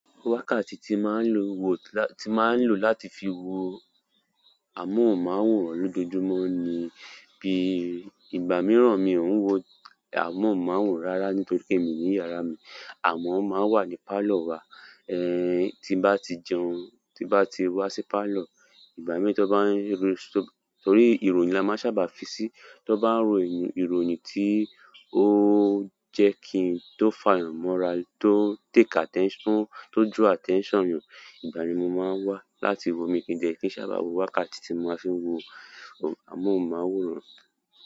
Wákàtí tí máa ń lo wo-- tí máa ń lò láti fi wo amóhùnmáwòrán lójoojúmọ́ ni bíi ìgbà mìíràn mi ò ń wo amóhùnmáwòrán rárá nítorí pé mi ní yàrá mi, àmọ́ ó máa ń wà ní pálọ̀ wa. Eh, tí bá ti jẹun, tí bá ti wá sí pálọ̀, ìgbà mìíràn tí wọn bá ń ro-- torí ìròyìn la máa ń sábà fi sí. Tán bá ń ro ìròyìn tí ó jẹ́ kí n tó fààyàn mọ́ra, tó take attention, tó draw attention yàn, ìgbà yẹn ni mo máa wá láti wo, míì dẹ̀ kí ń sábà wo. Wákàtí tí mo fi ń wo amóhùnmáwòrán.